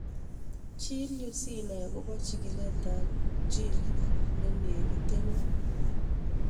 Chil yu sinai akopo chigilet ab gene nenegitenen